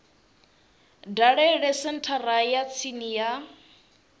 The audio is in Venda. dalele senthara ya tsini ya